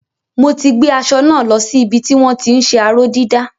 Mo ti gbé aṣọ náà lo sí ibi tí wọ́n ti ń ṣe aró-dídà.